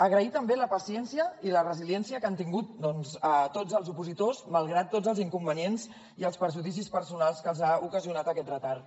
agrair també la paciència i la resiliència que han tingut doncs tots els opositors malgrat tots els inconvenients i els perjudicis personals que els ha ocasionat aquest retard